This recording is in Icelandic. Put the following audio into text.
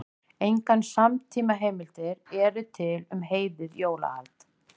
Engar samtímaheimildir eru til um heiðið jólahald.